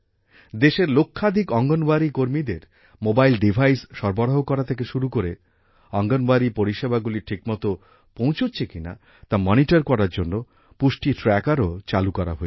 দেশের লক্ষাধিক অঙ্গনওয়াড়ি কর্মীদের মোবাইল ডিভাইস সরবরাহ করা থেকে শুরু করে অঙ্গনওয়াড়ি পরিষেবাগুলির ঠিকমতো পৌঁছছে কিনা তা মনিটর করার জন্য পুষ্টি ট্র্যাকারও চালু করা হয়েছে